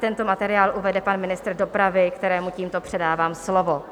Tento materiál uvede pan ministr dopravy, kterému tímto předávám slovo.